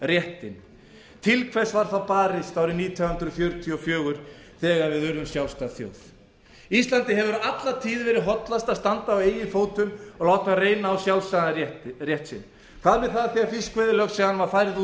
fullveldisréttinn til hvers var þá barist árið nítján hundruð fjörutíu og fjögur þegar við urðum sjálfstæð þjóð íslandi hefur alla tíð verið hollast að standa á eigin fótum og láta reyna á sjálfstæðan rétt sinn hvað var það þegar fiskveiðilögsagan var færð út